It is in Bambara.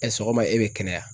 sɔgɔma e bɛ kɛnɛya